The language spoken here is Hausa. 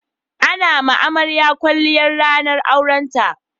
A na ma amarya kwalliya ranar aurenta